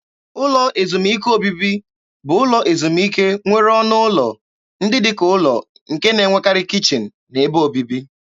Ụlọ ezumike obibi bụ ụlọ ezumike nwere ọnụ ụlọ ndị dị ka ụlọ nke na-enwekarị kichin na ebe obibi.